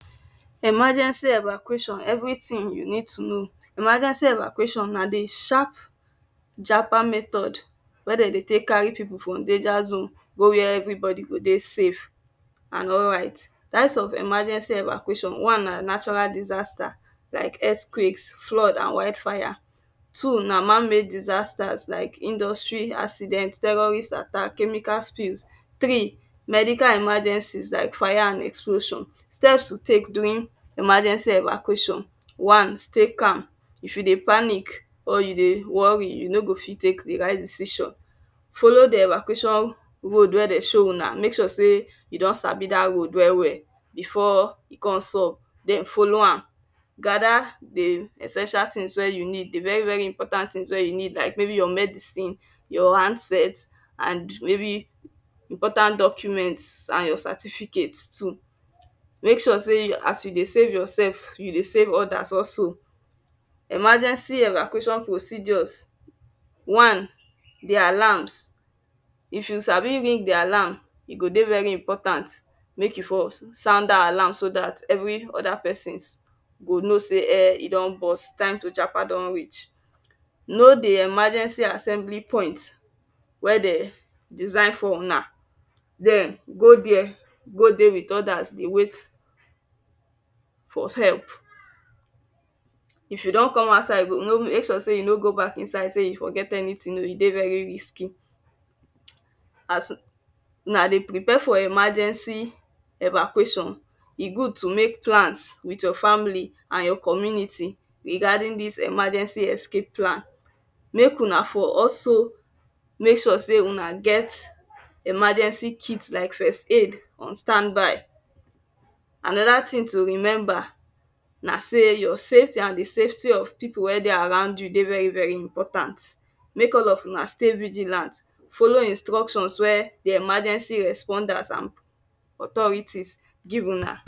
Emargency Evacuation everything you need to know Emergency Evacuation na the sharp japa method wey dey dey take carry people from danger zone go where everybody go dey safe and alright. Types of emergency Evacuation; One na natural disaster like earth quakes flood and wild fire. Two na man made disasters like industry accident, terrorist attack, chemical spill Three: Medical emergencies like fire and explosion Steps to take during emergency Evacuation One) stay calm: if you dey panic or you dey worry you no go fit take the right decision. Follow the Evacuation road wey Dem show unamake sure say you don sabi that road well well before e come sub then follow am. Gather the essential things wey you need. The very very important things wey you need maybe like your medicine your handset and maybe important documents and your certificate too. Make sure sey as you dey save yourself, you dey save others also Emergency Evacuation procedures One) the alarms: if you sabi ring the alarm, e go dey very important make you for sound that alarm so that every other person go know say[um]e don burst, time to japa don reach. No dey emergency assembly point dey design for una then go there go dey with others dey wait for help If you don come outside, you go make sure sey you no go back inside dey you forget anything oh e dey very risky. As Una dey prepare for emergency Evacuation e good to make plans with your family and your community regarding this emergency escape plan. Make Una for also make sure say Una get emergency kits like first aid on stand by. And another thing to remember na say your safety and the safety of people wey dey around you dey very very important. Make all of una stay vigilant follow instructions wey the emergency responders and authorities give una